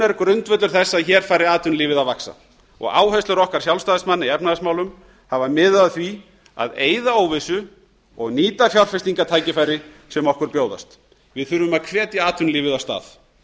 er grundvöllur þess að hér fari atvinnulífið að vaxta og áherslur okkar sjálfstæðismanna í efnahagsmálum hafa miðað að því að eyða óvissu og nýta fjárfestingartækifæri sem okkur bjóðast við þurfum að hvetja atvinnulífið af stað